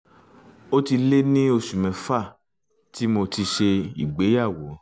ó ti lé ní oṣù mẹ́fà tí mo ti ṣègbéyàwó